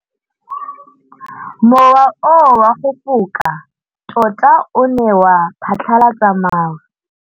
Mowa o wa go foka tota o ne wa phatlalatsa maru.